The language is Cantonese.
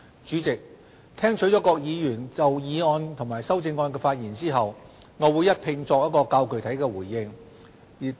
主席，聽取各議員就議案及修正案的發言後，我會一併作較具體的回應。